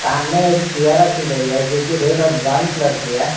सामने एक चेयर रखी गई है जो रेड और ब्राउन कलर की है।